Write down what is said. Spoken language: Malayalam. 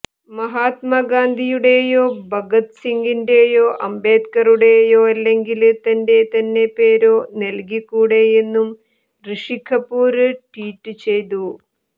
മഹാത്മ ഗാന്ധിയുടേയോ ഭഗത് സിംഗിന്റേയോ അംബേദ്കറുടെയോ അല്ലെങ്കില് തന്റെ തന്നെ പേരോ നല്കിക്കൂടെയെന്നും ഋഷി കപൂര് ട്വീറ്റ് ചെയ്തു